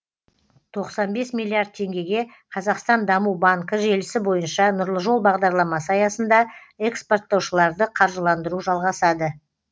тоқсан бес миллиард теңгеге қазақстан даму банкі желісі бойынша нұрлы жол бағдарламасы аясында экспорттаушыларды қаржыландыру жалғасады